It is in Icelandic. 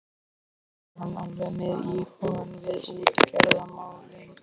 Annars var hann alveg með hugann við útgerðarmálin.